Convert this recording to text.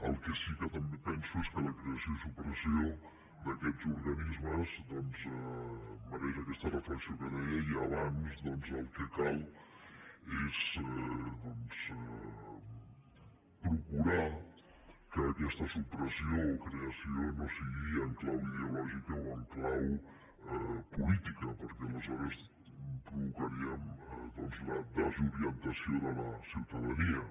el que sí que també penso és que la creació i la supressió d’aquests organismes doncs mereix aquesta reflexió que deia i abans el que cal és procurar que aquesta supressió o creació no sigui en clau ideològica o en clau política perquè aleshores provocaríem la desorientació de la ciutadania